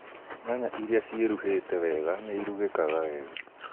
Nyaya irĩa ciĩruhĩte wega nĩirugĩkaga wega